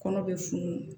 Kɔnɔ be funu